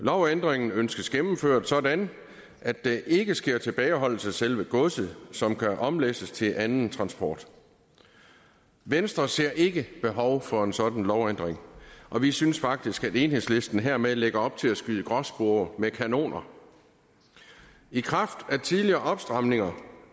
lovændringen ønskes gennemført sådan at der ikke sker tilbageholdelse af selve godset som kan omlæsses til anden transport venstre ser ikke behov for en sådan lovændring og vi synes faktisk at enhedslisten hermed lægger op til at skyde gråspurve med kanoner i kraft af tidligere opstramninger